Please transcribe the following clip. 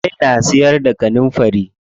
Zai na siyar da kanunfari.